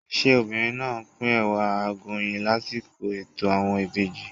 Ṣé obìnrin náà á pín Ẹ̀wà Àgọ̀yìn lásìkò ètò àwọn ìbejì?